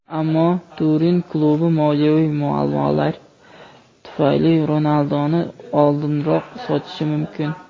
ammo Turin klubi moliyaviy muammolar tufayli Ronalduni oldinroq sotishi mumkin.